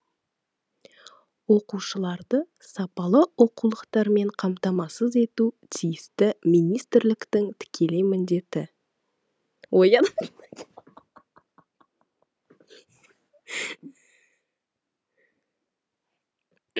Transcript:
оқушыларды сапалы оқулықтармен қамтамасыз ету тиісті министрліктің тікелей міндеті